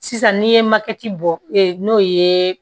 Sisan n'i ye bɔ n'o ye